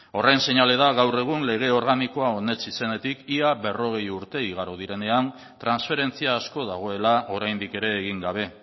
horren seinale da gaur egun lege organikoa onetsi zenetik ia berrogei urte igaro direnean transferentzia asko dagoela oraindik ere egin gabe